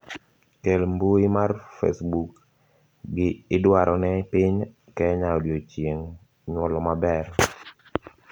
kel mbui mar facebook gi idwarone piny Kenya odiochineg' nyuolo maber